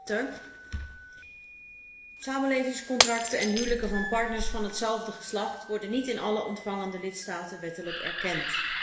Voorzitter, samenlevingscontracten en huwelijken van partners van hetzelfde geslacht worden niet in alle ontvangende lidstaten wettelijk erkend.